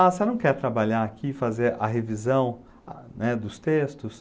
Ah, você não quer trabalhar aqui e fazer a revisão, né, dos textos?